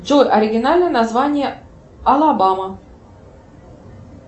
джой оригинальное название алабама